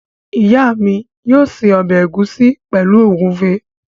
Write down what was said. Ìyá mi yóò se ọbẹ̀ ẹ̀gúsí pẹ̀lú ògúnfe.